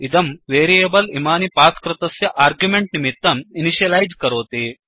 इदं वेरियेबल् इमानि पास् कृतस्य आर्ग्युमेण्ट् निमित्तम् इनिशियलैज् करोति